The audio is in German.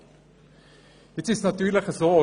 Nun ist es natürlich so: